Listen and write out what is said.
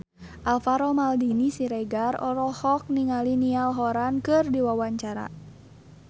Alvaro Maldini Siregar olohok ningali Niall Horran keur diwawancara